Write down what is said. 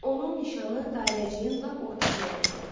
Onun nişanı dairəciyin lap ortasına dəydi.